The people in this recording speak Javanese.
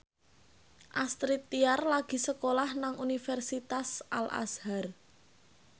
Astrid Tiar lagi sekolah nang Universitas Al Azhar